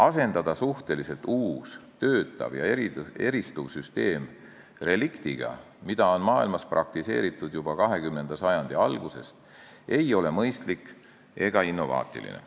Asendada suhteliselt uus, töötav ja eristuv süsteem reliktiga, mida on maailmas praktiseeritud juba 20. sajandi algusest, ei ole mõistlik ega innovaatiline.